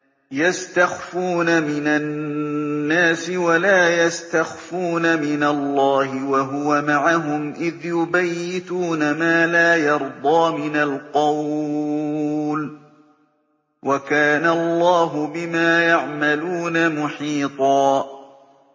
يَسْتَخْفُونَ مِنَ النَّاسِ وَلَا يَسْتَخْفُونَ مِنَ اللَّهِ وَهُوَ مَعَهُمْ إِذْ يُبَيِّتُونَ مَا لَا يَرْضَىٰ مِنَ الْقَوْلِ ۚ وَكَانَ اللَّهُ بِمَا يَعْمَلُونَ مُحِيطًا